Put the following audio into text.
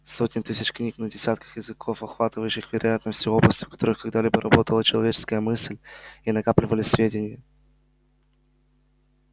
сотен тысяч книг на десятках языков охватывающих вероятно все области в которых когда-либо работала человеческая мысль и накапливались сведения